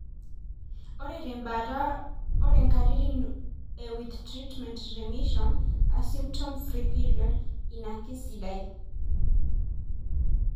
Ore tembaata, ore inkatitin e With treatment, remission (a symptom free period) ina kisidai.